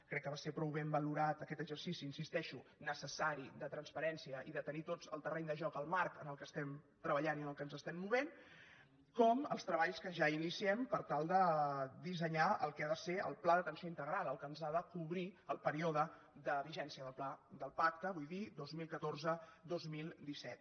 crec que va ser prou ben valorat aquest exercici hi insisteixo necessari de transparència i de tenir tots el terreny de joc el marc en el qual estem treballant i en el qual ens estem movent com els treballs que ja iniciem per tal de dissenyar el que ha de ser el pla d’atenció integral el que ens ha de cobrir el període de vigència del pacte vull dir dos mil catorze dos mil disset